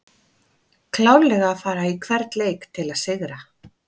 Klárlega að fara í hvern leik til að sigra!